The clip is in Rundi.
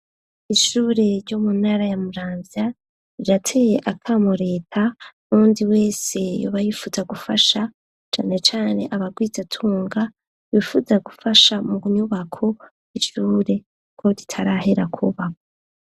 Ishure ryo mu ntara ya Muramvya, irateye akamo leta, nuwundi wese yoba yifuza gufasha, cane cane abagwizatunga, bifuza gufasha mu nyubako y'ishure, ko ritarahera kubakwa.